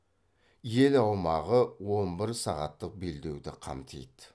ел аумағы он бір сағаттық белдеуді қамтиды